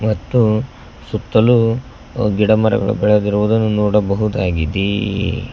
ಮತ್ತು ಸುತ್ತಲೂ ಗಿಡ ಮರಗಳು ಬೆಳೆದಿರುವುದನ್ನು ನೋಡಬಹುದಾಗಿದೆ.